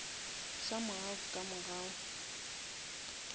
some how ka mogau